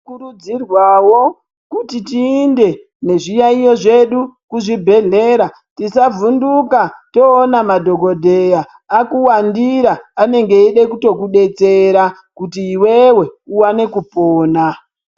Kurudzrwa kuti tiyinde nezviyaiyo zvedu kuzvibhedhleya tisavhunduka kana toone madhokodheya akuwandira anenge eide kuto iwewe uwane kupona.